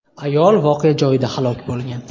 Ayol voqea joyida halok bo‘lgan.